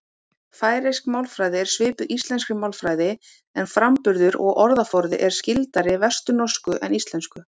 Færeysk málfræði er svipuð íslenskri málfræði en framburður og orðaforði er skyldari vesturnorsku en íslensku.